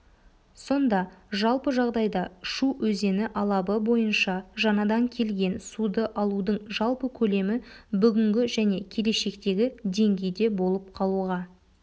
сонда жалпы жағдайда шу өзені алабы бойынша жаңадан келген суды алудың жалпы көлемі бүгінгі және келешектегі деңгейде болып қалуға